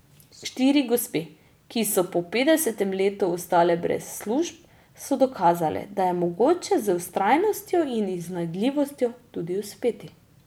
Štiri gospe, ki so po petdesetem letu ostale brez služb, so dokazale, da je mogoče z vztrajnostjo in iznajdljivostjo tudi uspeti.